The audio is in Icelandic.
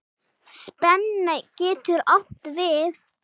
Spenna getur átt við